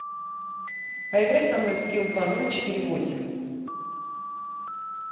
поиграй со мной в скил два ноль четыре восемь